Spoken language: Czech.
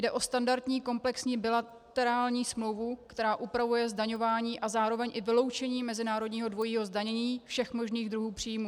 Jde o standardní komplexní bilaterální smlouvu, která upravuje zdaňování a zároveň i vyloučení mezinárodního dvojího zdanění všech možných druhů příjmů.